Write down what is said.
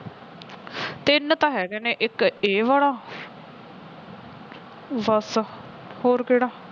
ਤਿੰਨ ਤਾਂ ਹੈਗੇ ਨੇ ਇੱਕ ਇਹ ਵਾਲਾ ਬਸ ਹੋਰ ਕਿਹੜਾ